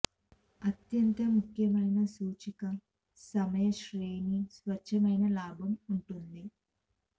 అత్యంత ముఖ్యమైన సూచిక సమయ శ్రేణి స్వచ్ఛమైన లాభం ఉంటుంది